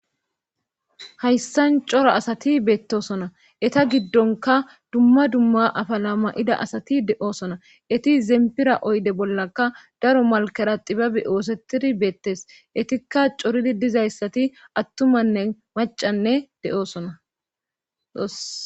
hayssan cora asati beettosona eta giddonka dumma dumma afalama7ida asati de7oosona eti zempira oyde bollaka daro malkera xibabi oosetidi beettes etikka coridi dizayssati attumanne macanne de7osona